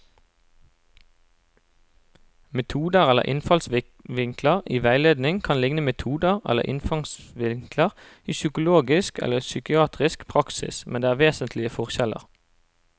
Metoder eller innfallsvinkler i veiledning kan likne metoder eller innfallsvinkler i psykologisk eller psykiatrisk praksis, men det er vesentlige forskjeller.